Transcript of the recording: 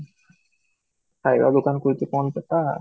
କାଇବାକୁ କଣ ଖୋଲିଚି କଣ ସେଟା